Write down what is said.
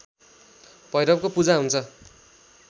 भैरवको पूजा हुन्छ